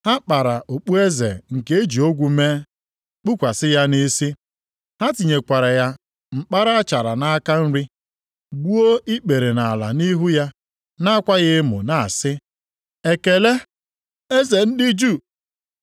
Ha kpara okpueze nke e ji ogwu mee, kpukwasị ya nʼisi. Ha tinyekwara ya mkpara achara nʼaka nri, gbuo ikpere nʼala nʼihu ya, na-akwa ya emo na-asị, “Ekele, Eze ndị Juu!”